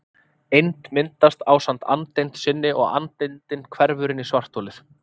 Eind myndast ásamt andeind sinni og andeindin hverfur inn í svartholið.